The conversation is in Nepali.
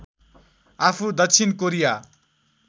आफू दक्षिण कोरिया